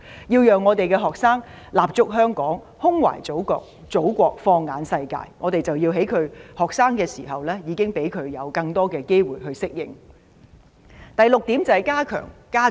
為了讓學生立足香港、胸懷祖國、放眼世界，我們要在他們求學時期，給予他們更多機會進行交流及實習。